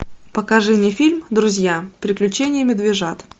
покажи мне фильм друзья приключения медвежат